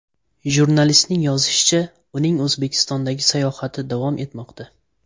Jurnalistning yozishicha, uning O‘zbekistondagi sayohati davom etmoqda.